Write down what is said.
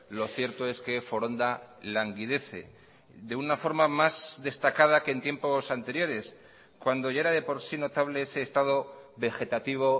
lo cierto es que foronda languidece de una forma más destacada que en tiempos anteriores cuando ya era de por sí notable ese estado vegetativo